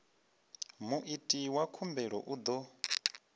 muiti wa khumbelo u ḓo